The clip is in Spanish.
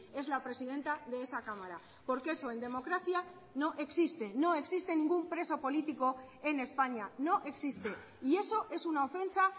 es la presidenta de esa cámara porque eso en democracia no existe no existe ningún preso político en españa no existe y eso es una ofensa